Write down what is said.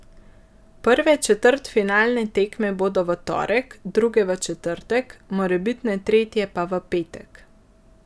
Prve četrtfinalne tekme bodo v torek, druge v četrtek, morebitne tretje pa v petek.